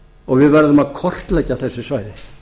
og við verðum að kortleggja þessi svæði